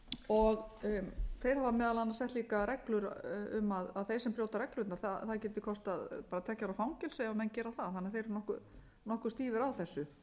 og þeir hafa meðal annars sett líka reglur um að þeir sem brjóta reglurnar það geti kostað tveggja ára fangelsi ef menn gera það þannig að þeir eru nokkuð stífir á þessu